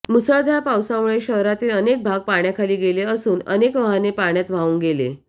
मुसळधार पावसामुळे शहरातील अनेक भाग पाण्याखाली गेले असून अनेक वाहने पाण्यात वाहून गेले